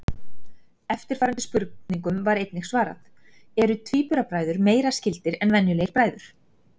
Eftirfarandi spurningum var einnig svarað: Eru tvíburabræður meira skyldir en venjulegir bræður?